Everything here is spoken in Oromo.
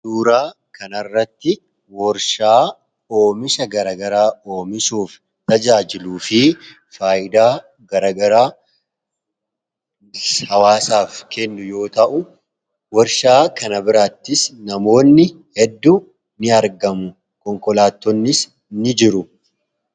Suuraa kana irratti warshaa oomisha gara garaa oomishuuf tajaajiluu fi faayidaa gara garaa hawaasaaf kennu yoo ta'u, warshaa kana birattis namoonnii fi konkolaataa hedduun ni argamu.